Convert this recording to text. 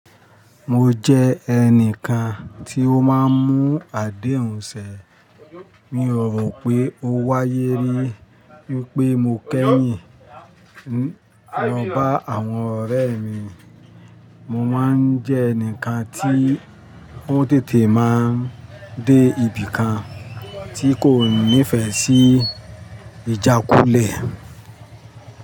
Mo jẹ́ ẹnìkan tí ó máa ń mú àdéhùn sẹ. Mi ò rò pé ó wáyé rí wípé mo kẹ́yìn ní lo ba àwọn ọ̀rẹ́ mi. Mo má ń jẹ́ ẹnìkan tí o tètè má ń dé ibìkan tí kò nífẹ̀ẹ́ sí ìjákulẹ̀.